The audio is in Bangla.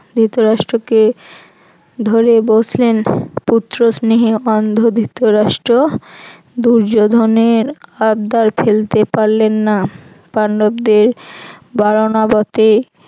ধৃতরাষ্ট্রকে ধরে বসলেন পুত্র স্নেহে অন্ধ ধৃতরাষ্ট্র দুর্যোধনের আবদার ফেলতে পারলেন না পান্ডবদের বাড়নাবতে